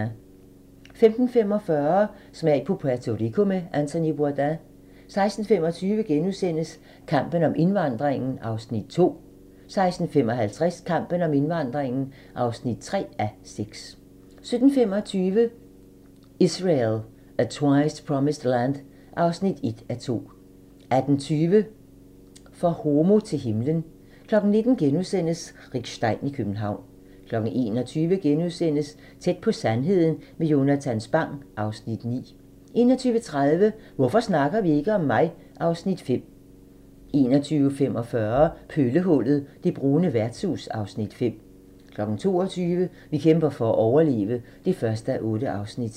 15:45: Smag på Puerto Rico med Anthony Bourdain 16:25: Kampen om indvandringen (2:6)* 16:55: Kampen om indvandringen (3:6) 17:25: Israel, a Twice-Promised Land (1:2) 18:20: For homo til himlen 19:00: Rick Stein i København * 21:00: Tæt på sandheden med Jonatan Spang (Afs. 9)* 21:30: Hvorfor snakker vi ikke om mig? (Afs. 5) 21:45: Pøllehullet – det brune værtshus (Afs. 5) 22:00: Vi kæmper for at overleve (1:8)